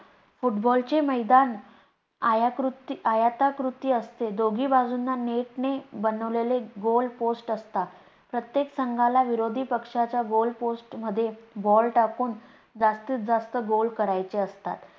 football चे मैदान आयताकृती असते. दोघी बाजूंना net ने बनवलेले goal post असतात. प्रत्येक संघाला विरोधी पक्षाच्या goal post मध्ये ball टाकून जास्तीत जास्त goal करायचे असतात